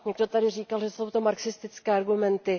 Někdo tady říkal, že jsou to marxistické argumenty.